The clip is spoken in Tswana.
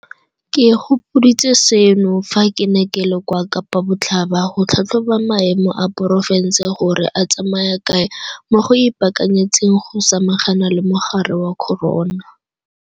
Ke gopoditswe seno fa ke ne ke le kwa Kapa Botlhaba go tlhatlhoba maemo a porofense gore a tsamaya kae mo go ipaakanyetseng go samagana le mogare wa corona.